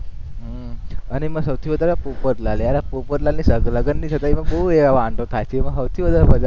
અને એમાં સૌથી વધારે પોપટલાલ યાર આ પોપટલાલની લગનની સગાઈમાં બોવ વાંધો થાય છે એમાં સૌથી વધારે મજા